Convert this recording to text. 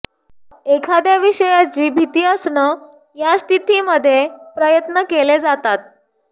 एखाद्या विषयाची भीती असणं या स्थितीमध्ये प्रयत्न केले जातात